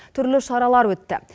түрлі шаралар өтті